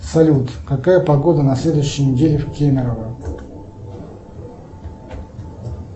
салют какая погода на следующей неделе в кемерово